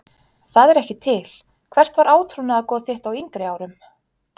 Það er ekki til Hvert var átrúnaðargoð þitt á yngri árum?